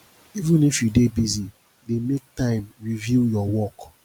even if you dey busy dey make time review your work